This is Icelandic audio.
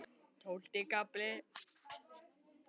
Tólfti kafli